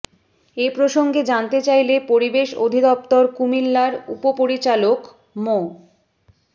এ প্রসঙ্গে জানতে চাইলে পরিবেশ অধিদপ্তর কুমিল্লার উপপরিচালক মো